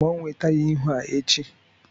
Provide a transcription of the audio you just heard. Gbanwee taya ihu a echi!